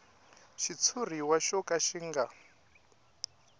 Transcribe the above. xitshuriwa xo ka xi nga